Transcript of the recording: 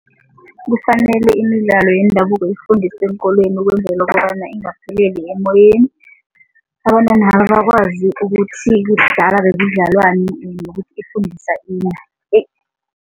Kufanele imidlalo yendabuko ifundiswe eenkolweni ukwenzela kobana ingapheleli emoyeni, abantwanaba bakwazi ukuthi kudala bekudlalwani nokuthi ifundisa ini